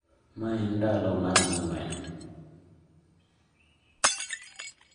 Ma en ndalo mar ang'wen